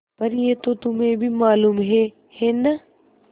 पर यह तो तुम्हें भी मालूम है है न